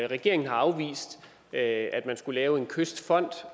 regeringen har afvist at man skulle lave en kystfond